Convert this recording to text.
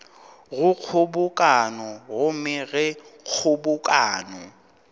go kgobokano gomme ge kgobokano